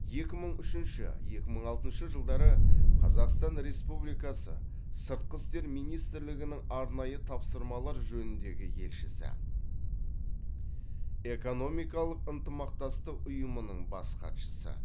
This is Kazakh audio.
екі мың үшінші екі мың алтыншы жылдары қазақстан республикасы сыртқы істер министрлігінің арнайы тапсырмалар жөніндегі елшісі экономикалық ынтымақтастық ұйымының бас хатшысы